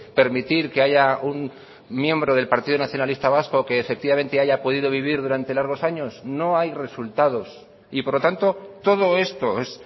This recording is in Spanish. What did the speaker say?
permitir que haya un miembro del partido nacionalista vasco que efectivamente haya podido vivir durante largos años no hay resultados y por lo tanto todo esto es